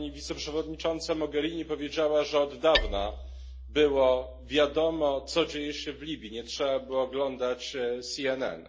Pani wiceprzewodnicząca Mogherini powiedziała, że od dawna było wiadomo, co dzieje się w Libii, nie trzeba było oglądać CNN.